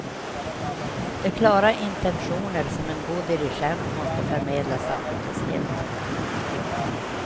De klara intentioner som en god dirigent måste förmedla saknades helt.